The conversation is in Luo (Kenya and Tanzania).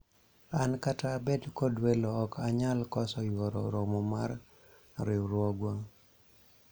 an kata abed kod welo ok anyal koso yuoro romo mar riwruogwa